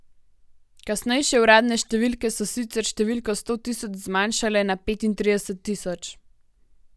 Kasnejše uradne številke so sicer številko sto tisoč zmanjšale na petintrideset tisoč.